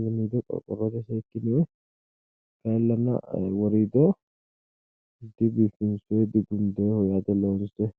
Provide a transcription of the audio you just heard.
iimiido qorqorrotenni fukkinoonni woriidosi kayinni loonse gundoonnikkita leellishshanno.